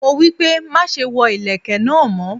Mo wípé, má ṣe wọ ìlẹ̀kẹ̀ náà mọ́.